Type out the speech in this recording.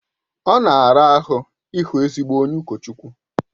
Ọ na-ara ahụ ịhụ ezigbo onye ụkọchukwu